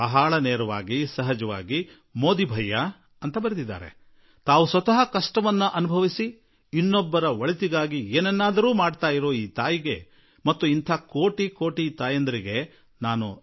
ನೇರವಾಗಿ ಅವರು ಮೋದಿಭಯ್ಯ ಎಂದು ಸಂಬೋಧಿಸಿ ಬರೆದಿದ್ದಾರೆ ಆ ತಾಯಿಗೆ ನಾನು ನಮಿಸುವೆ ಮತ್ತು ಸ್ವತಃ ಕಷ್ಟ ಅನುಭವಿಸಿ ಬೇರೆಯವರಿಗಾಗಿ ಏನನ್ನಾದರೂ ಮಾಡುತ್ತಿರುವ ಭಾರತದ ಇಂತಹ ಕೋಟಿ ಕೋಟಿ ಮಾತೆಯರಿಗೂ ನನ್ನ ಪ್ರಣಾಮಗಳು